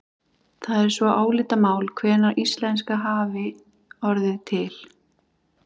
Það er svo álitamál hvenær íslenska hafi orðið til.